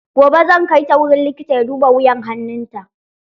Gobe zan kai ta wurin likita ya duba wuyan hannun ta.